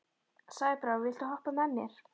Sæbrá, viltu hoppa með mér?